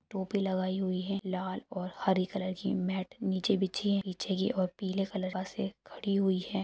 टोपी लगाई हुई है लाल और हरी कलर के मैट नीचे बिछी है पीछे की और पीले कलर बसे खड़ी हुई है।